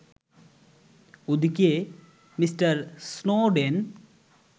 ওদিকে Mr Snowden